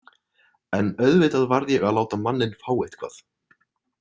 En auðvitað varð ég að láta manninn fá eitthvað.